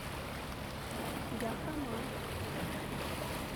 яхрома